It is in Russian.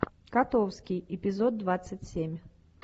котовский эпизод двадцать семь